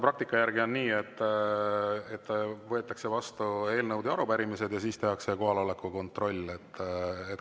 praktika järgi on olnud nii, et võetakse vastu eelnõud ja arupärimised ja siis tehakse kohaloleku kontroll.